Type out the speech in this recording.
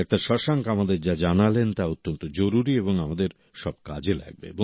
doctor Shashank আমাদের যা জানালেন তা অত্যন্ত জরুরী এবং আমাদের সব কাজে লাগবে